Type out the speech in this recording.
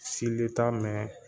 Sile t'a mɛn